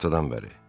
Günortadan bəri.